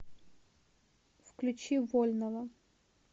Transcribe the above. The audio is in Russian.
включи вольного